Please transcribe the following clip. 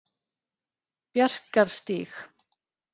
Bjarkarstíg